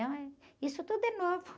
Então, eh, isso tudo é novo.